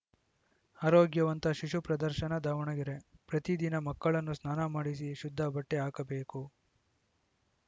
ಆರೋಗ್ಯವಂತ ಶಿಶು ಪ್ರದರ್ಶನ ದಾವಣಗೆರೆ ಪ್ರತಿದಿನ ಮಕ್ಕಳನ್ನು ಸ್ನಾನ ಮಾಡಿಸಿ ಶುದ್ಧ ಬಟ್ಟೆಹಾಕಬೇಕು